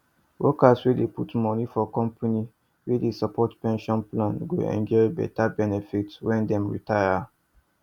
workers wey dey put money for company wey dey support pension plan go enjoy beta benefit when dem retire